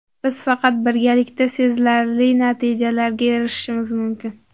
Biz faqat birgalikda sezilarli natijalarga erishishimiz mumkin.